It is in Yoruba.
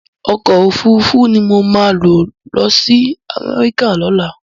Òkò ófúrúfú ni mó má lòsi Amèriká lòlá